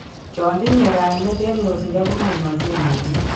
Chon tinye kaimet en yosindo komaimaksei mising